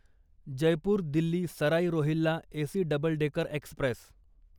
Jaipur Delhi Sarai Rohilla AC double decker Express